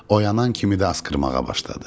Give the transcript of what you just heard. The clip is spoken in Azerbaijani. Oyanan kimi də asqırmağa başladı.